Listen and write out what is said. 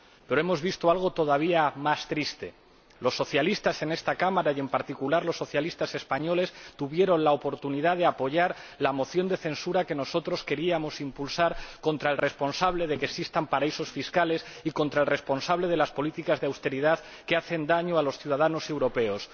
Pero hemos visto algo todavía más triste los socialistas en esta Cámara, y en particular los socialistas españoles, tuvieron la oportunidad de apoyar la moción de censura que nosotros queríamos impulsar contra el responsable de que existan paraísos fiscales y contra el responsable de las políticas de austeridad que hacen daño a los ciudadanos europeos.